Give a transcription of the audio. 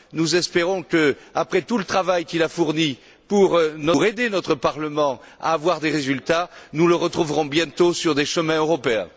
Nous espérons que, après tout le travail qu'il a fourni pour aider notre Parlement à obtenir des résultats, nous le retrouverons bientôt sur des chemins européens.